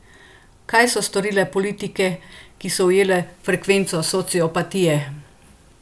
Kaj so storile politike, ki so ujele frekvenco sociopatije?